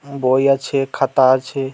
ম বই আছে খাতা আছে।